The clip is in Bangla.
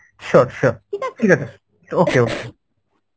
sure sure ঠিক আছে okay